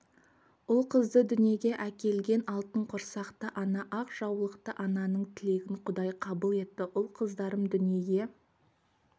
ұл-қызды дүниеге әкелген алтын құрсақты ана ақ жаулықты ананың тілегін құдай қабыл етті ұл-қыздарым дүниеге